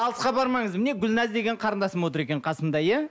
алысқа бармаңыз міне гүлназ деген қарындасым отыр екен қасымда иә